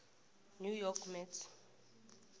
new york mets